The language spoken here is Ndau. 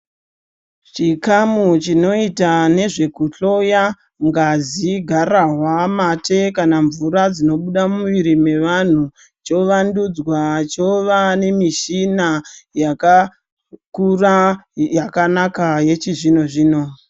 Chikamu chinoita nezvekuhloya ngazi, gararwa, mate kana mvura dzinobuda mumuiri mevantu chovandudzwa chova nemishina yakakura yakanaka yechizvino-zvino.